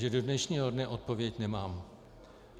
Že do dnešního dne odpověď nemám.